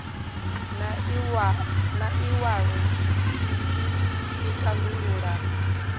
na iwalo ii i tandulula